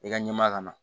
I ka ɲɛmaa ka na